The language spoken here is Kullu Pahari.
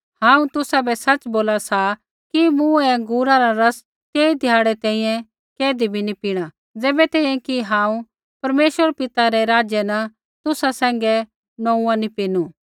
हांऊँ तुसाबै सच़ बोला सा कि मूँ ऐ अँगूरा रा रस तेई ध्याड़ै तैंईंयैं कैधी बी नी पीणा ज़ैबै तैंईंयैं कि हांऊँ परमेश्वर पिता रै राज्य न तुसा सैंघै नोंऊँआं नी पीनू